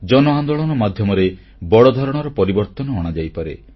ଜନ ଆନ୍ଦୋଳନ ମାଧ୍ୟମରେ ବଡ଼ ଧରଣର ପରିବର୍ତ୍ତନ ଅଣାଯାଇପାରେ